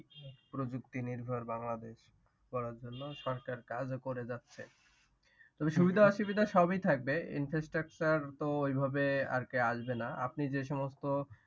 প্রযুক্তি নির্ভর বাংলাদেশ গড়ার জন্যে সরকার কাজ ও করে যাচ্ছে। তবে সুবিধা অসবিধা সবই থাকবে infrastructure তো ওই ভাবে আর কি আসবে না। আপনি যে সমস্ত।